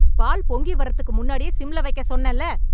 பால் பொங்கி வர்றதுக்கு முன்னாடியே சிம்ல வைக்க சொன்னேல